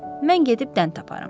Mən gedib dən taparam.